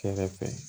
Kɛrɛfɛ